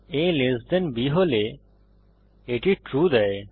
a less than b হলে এটি true দেয়